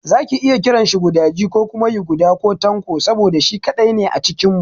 Za ki iya kiranshi gudaji ko kuma yuguda ko Tanko saboda shi kaɗai ne a cikin mu.